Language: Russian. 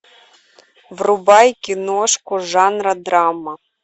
врубай киношку жанра драма